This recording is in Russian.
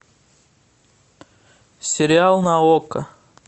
сериал на окко